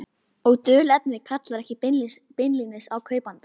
Og dulnefnið kallar ekki beinlínis á kaupandann.